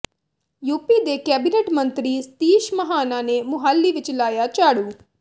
UP ਦੇ cabinet ਮੰਤਰੀ ਸਤੀਸ਼ ਮਹਾਨਾ ਨੇ ਮੁਹਾਲੀ ਵਿੱਚ ਲਾਇਆ ਝਾੜੂ